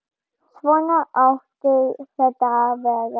Svona átti þetta að vera.